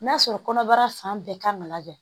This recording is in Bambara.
N'a sɔrɔ kɔnɔbara fan bɛɛ kan ka lajɛ